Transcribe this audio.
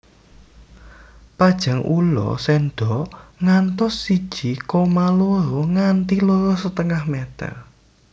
Panjang ula sendok ngantos siji koma loro nganti loro setengah meter